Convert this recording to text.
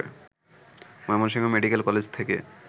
Mymensingh medical college থেকে